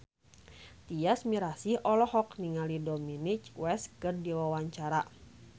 Tyas Mirasih olohok ningali Dominic West keur diwawancara